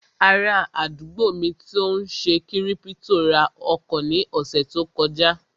Ará àdúgbò mi tó n ṣe kírípítò ra ọkọ̀ ní ọ̀sẹ̀ tó kọjá